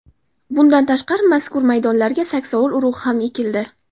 Bundan tashqari, mazkur maydonlarga saksovul urug‘i ham ekildi.